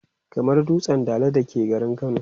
kamar dutsen Dala da ke garin kano